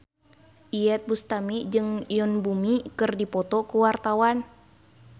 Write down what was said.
Iyeth Bustami jeung Yoon Bomi keur dipoto ku wartawan